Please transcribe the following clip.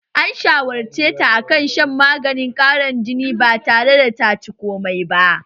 An shawarceta akan shan maganin ƙarin jini batare da taci komai ba